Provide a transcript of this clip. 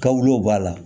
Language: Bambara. Kawulew b'a la